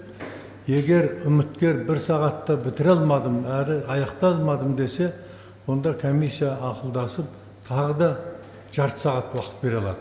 егер үміткер бір сағатта бітіре алмадым әрі аяқтай алмадым десе онда комиссия ақылдасып тағы да жарты сағат уақыт бере алады